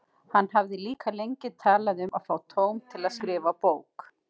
Hann hafði líka lengi talað um að fá tóm til að skrifa bók.